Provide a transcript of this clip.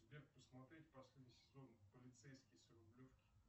сбер посмотреть последний сезон полицейский с рублевки